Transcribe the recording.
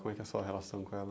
Como é que é sua relação com ela?